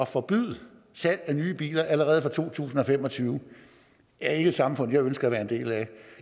forbyder salg af nye biler allerede fra to tusind og fem og tyve er ikke et samfund jeg ønsker at være en del af